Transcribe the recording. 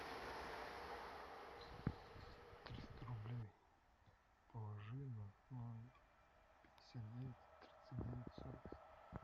триста рублей положи на номер пятьдесят девять тридцать девять сорок семь